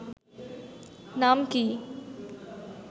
নাম কি